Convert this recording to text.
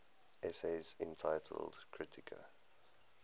essays entitled kritika